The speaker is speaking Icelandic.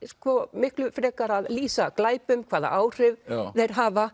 miklu frekar að lýsa glæpum hvaða áhrif þeir hafa